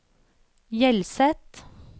Hjelset